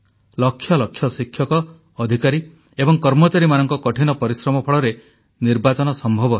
ଲକ୍ଷ ଲକ୍ଷ ଶିକ୍ଷକ ଅଧିକାରୀ ଏବଂ କର୍ମଚାରୀମାନଙ୍କ କଠିନ ପରିଶ୍ରମ ଫଳରେ ନିର୍ବାଚନ ସମ୍ଭବ ହେଲା